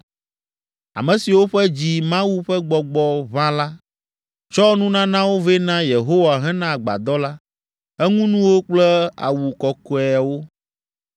Ame siwo ƒe dzi Mawu ƒe Gbɔgbɔ ʋã la, tsɔ nunanawo vɛ na Yehowa hena agbadɔ la, eŋunuwo kple awu kɔkɔeawo.